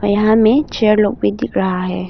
यहा मे चेयर लोग भी दिख रहा है।